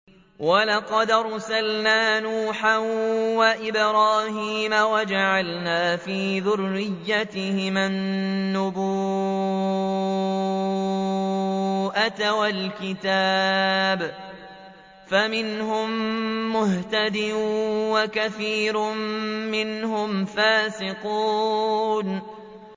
وَلَقَدْ أَرْسَلْنَا نُوحًا وَإِبْرَاهِيمَ وَجَعَلْنَا فِي ذُرِّيَّتِهِمَا النُّبُوَّةَ وَالْكِتَابَ ۖ فَمِنْهُم مُّهْتَدٍ ۖ وَكَثِيرٌ مِّنْهُمْ فَاسِقُونَ